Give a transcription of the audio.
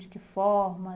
De que forma?